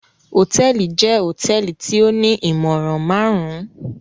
Hotẹẹli jẹ hotẹẹli ti o ni imọran marun-un.